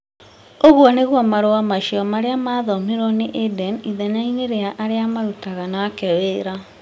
Ũguo nĩguo marũa macio marĩa mathomirwo nĩ Aden ithenya-inĩ rĩa arĩa marutaga nake wĩra.